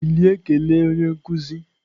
Bilie kelee onye nkuzi!